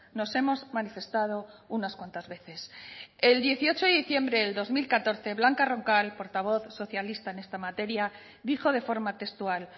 nos hemos manifestado unas cuantas veces el dieciocho de diciembre del dos mil catorce blanca roncal portavoz socialista en esta materia dijo de forma textual